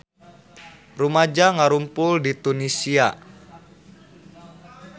Rumaja ngarumpul di Tunisia